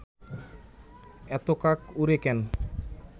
এত কাক ওড়ে কেন